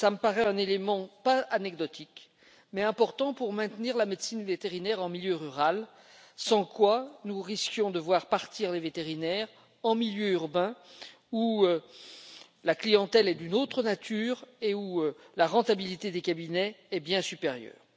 Cet élément ne me paraît pas anecdotique il est important pour maintenir la médecine vétérinaire en milieu rural, sans quoi nous risquons de voir partir les vétérinaires en milieu urbain, où la clientèle est d'une autre nature et où la rentabilité des cabinets est bien supérieure.